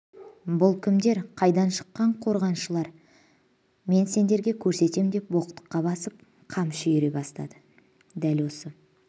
бұл кімдер қайдан шыққан қорғаншылар мен сендерге көрсетем деп боқтыққа басып қамшы үйіре бастады дәл осы